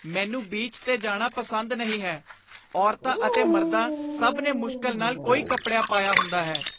ਮੈਨੂੰ ਬੀਚ 'ਤੇ ਜਾਣਾ ਪਸੰਦ ਨਹੀਂ ਹੈ। ਔਰਤਾਂ ਅਤੇ ਮਰਦਾਂ ਸਭ ਨੇ ਮੁਸ਼ਕਿਲ ਨਾਲ ਕੋਈ ਕੱਪੜਿਆ ਪਾਇਆ ਹੁੰਦਾ ਹੈ।